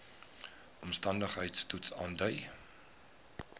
omstandigheids toets aandui